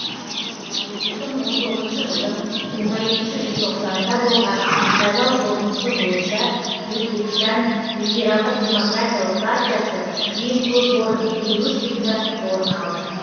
екі мың он тоғызыншы жылдың жиырма екінші желтоқсанында болған сайлау қорытындысы бойынша өзбекстан либералдық демократиялық партиясы ең көп орын елу үш депутаттық орын алды